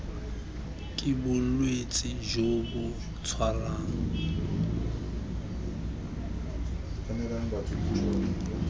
ke bolwetse jo bo tshwarang